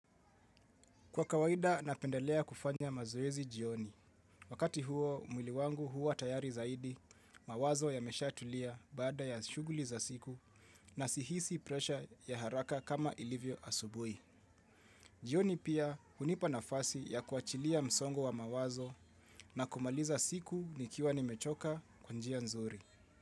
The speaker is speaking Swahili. Kwa kawaida napendelea kufanya mazoezi jioni. Wakati huo mwili wangu huwa tayari zaidi, mawazo yameshatulia baada ya shughuli za siku na sihisi presha ya haraka kama ilivyo asubuhi. Jioni pia hunipa nafasi ya kuachilia msongo wa mawazo na kumaliza siku nikiwa nimechoka kwa njia nzuri.